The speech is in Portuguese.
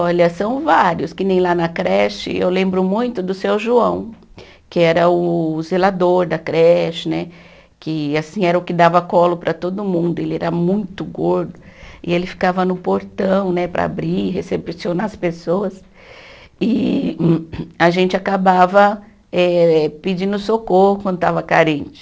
Olha, são vários, que nem lá na creche, eu lembro muito do seu João, que era o zelador da creche né, que assim era o que dava colo para todo mundo, ele era muito gordo, e ele ficava no portão né para abrir e recepcionar as pessoas, e a gente acabava eh pedindo socorro quando estava carente.